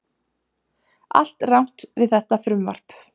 Allt rangt við þetta frumvarp